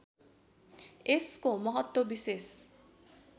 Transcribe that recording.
यसको महत्त्व विशेष